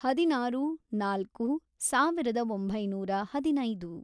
ಹದಿನಾರು, ನಾಲ್ಕು, ಸಾವಿರದ ಒಂಬೈನೂರ ಹದಿನೈದು